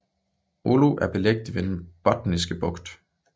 Oulu er beliggende ved Den Botniske Bugt